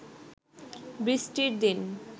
বৃষ্টির দিন